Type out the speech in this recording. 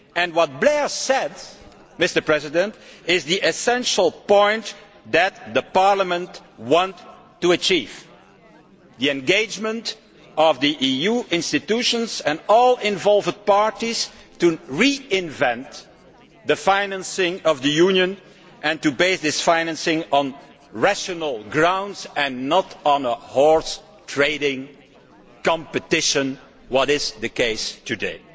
What Mr Blair said is the essential thing that Parliament wants to achieve the engagement of the EU institutions and all involved parties to reinvent the financing of the Union and to base this financing on rational grounds and not on a horse trading competition, which is the case today.